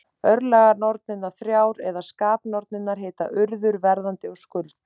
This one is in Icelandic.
Örlaganornirnar þrjár, eða skapanornirnar, heita Urður, Verðandi og Skuld.